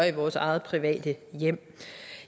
i vores eget private hjem